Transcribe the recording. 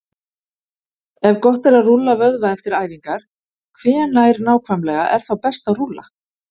Ef gott er að rúlla vöðva eftir æfingar, hvenær nákvæmlega er þá best að rúlla?